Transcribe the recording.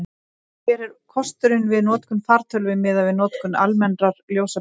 hver er kostnaðurinn við notkun fartölvu miðað við notkun almennrar ljósaperu